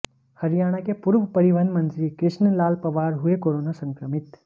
हरियाणा के पूर्व परिवहन मंत्री कृष्ण लाल पंवार हुए कोरोना संक्रमित